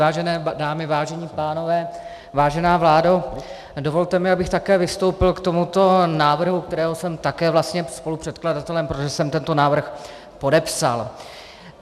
Vážené dámy, vážení pánové, vážená vládo, dovolte mi, abych také vystoupil k tomuto návrhu, kterého jsem také vlastně spolupředkladatelem, protože jsem tento návrh podepsal.